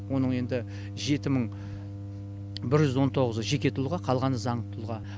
оның енді жеті мың бір жүз он тоғызы жеке тұлға қалғаны заңды тұлға